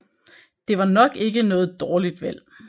Det var nok ikke noget dårligt valg